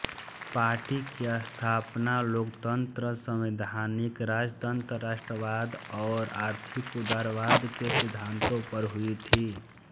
party की स्थापना लोकतंत्र संवैधानिक राजतंत्र राष्ट्रवाद और आर्थिक उदारवाद के सिद्धांतों पर हुई थी